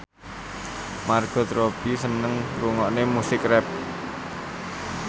Margot Robbie seneng ngrungokne musik rap